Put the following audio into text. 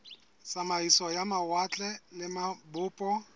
tsamaiso ya mawatle le mabopo